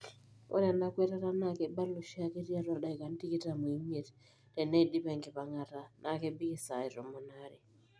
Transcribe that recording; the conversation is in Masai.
Ore ena kwetata naa keibala oshiake tiatua ildaikikani tikitam o imiet teneidip enkipang'ata naa kebik isaai tomon aare.